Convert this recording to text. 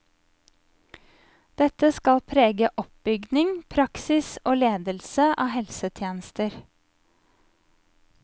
Dette skal prege oppbygning, praksis og ledelse av helsetjenester.